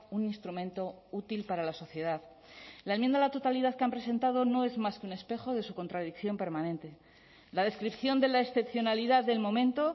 un instrumento útil para la sociedad la enmienda a la totalidad que han presentado no es más que un espejo de su contradicción permanente la descripción de la excepcionalidad del momento